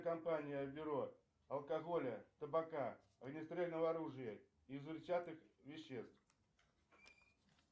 компания бюро алкоголя табака огнестрельного оружия и взрывчатых веществ